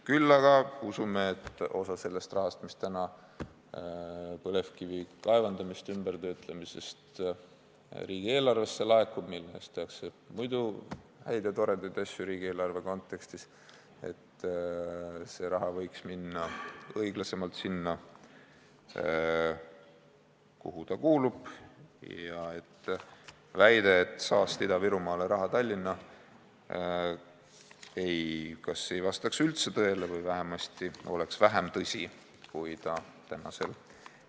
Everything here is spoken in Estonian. Küll aga usume, et osa sellest rahast, mis põlevkivi kaevandamise ja töötlemise tõttu riigieelarvesse laekub ning millest tehakse riigieelarve kontekstis muidu häid ja toredaid asju, võiks minna õiglasemalt sinna, kuhu ta kuulub, nii et väide, et saast Ida-Virumaale, raha Tallinna, kas ei vastaks üldse tõele või vähemasti oleks vähem tõsi, kui ta täna on.